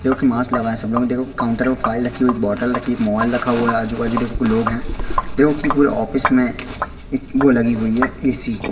जोकि मास्क लगाए है सब लोग देखो काउंटर में फाइल रखी हुई एक बोतल रखी एक मोबाइल रखा हुआ है आजू बाजू देखोगे लोग है देखोगे कि पूरी ऑफिस में एक वो लगी हुई है ए_सी --